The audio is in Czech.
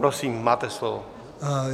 Prosím, máte slovo.